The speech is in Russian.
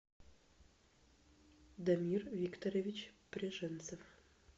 дамир викторович пряженцев